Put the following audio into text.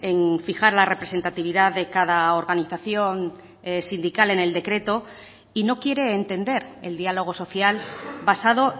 en fijar la representatividad de cada organización sindical en el decreto y no quiere entender el diálogo social basado